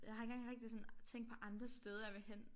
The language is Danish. Jeg ikke engang rigtig sådan tænk på andre steder jeg ville hen